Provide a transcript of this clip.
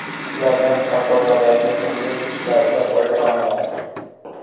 Ulardan Sardobadagi qurilish ishlarida foydalaniladi.